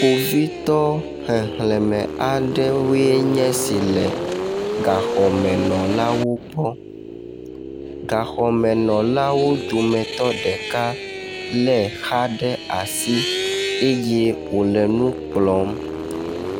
Kpovitɔ xexleme aɖewoe nye esi le gaxɔmenɔlawo gbɔ. Gaxɔmenɔlawo dometɔ ɖeka le exa ɖe asi eye wo le nu kplɔm.